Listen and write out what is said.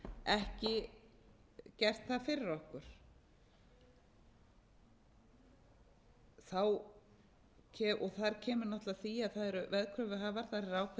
ekki gert það fyrir okkur þar kemur náttúrlega að því að það eru veðkröfuhafar þar er ákveðinn